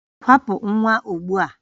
Kwapụ nwa ugbu a!